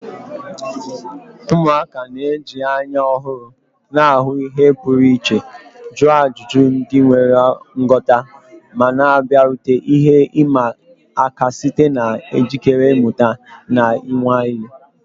Ụmụaka na-eji anya ọhụrụ na-ahụ ihe pụrụ iche, jụọ ajụjụ ndị nwere nghọta, ma na-abịarute ihe ịma aka site na njikere ịmụta na ịnwale.